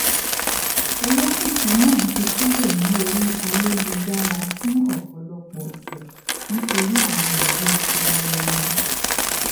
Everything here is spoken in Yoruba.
pẹlú cbn báyìí ní ìbámu ní kíkún pẹlu àwọn àṣẹ iléẹjọ gíga kò parí síbẹ síbẹ